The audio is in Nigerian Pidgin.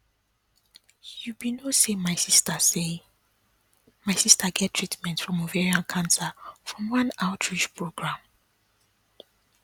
you be no say my sister say my sister get treatment from ovarian cancer from one outreach program